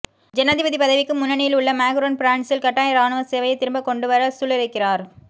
ஜனாதிபதி பதவிக்கு முன்னணியில் உள்ள மாக்ரோன் பிரான்சில் கட்டாய இராணுவ சேவையை திரும்ப கொண்டு வர சூளுரைக்கிறார்